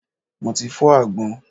Mo ti fọ́ àgbọn.